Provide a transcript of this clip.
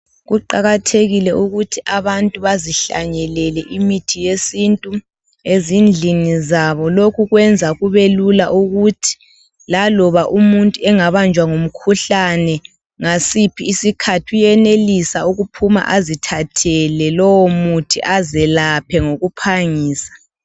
Kuqakathekile ukuthi abantu bazihlanyelele imithi yesintu ezindlini zabo lokhu kwenza kubelula ukuthi laloba umuntu engabanjwa ngumkhuhlane ngasiphi isikhathi uyenelisa ukuphuma azithathele lowo muthi azelaphe ngokuphangisa.